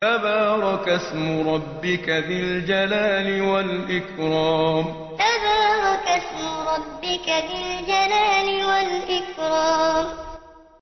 تَبَارَكَ اسْمُ رَبِّكَ ذِي الْجَلَالِ وَالْإِكْرَامِ تَبَارَكَ اسْمُ رَبِّكَ ذِي الْجَلَالِ وَالْإِكْرَامِ